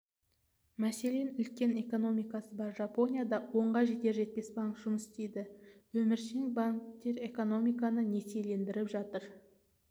мәселен үлкен экономикасы бар жапонияда онға жетер жетпес банк жұмыс істейді өміршең банктер экономиканы несиелендіріп жатыр